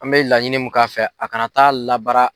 An mɛ laɲini mun k'a fɛ a kana taa labara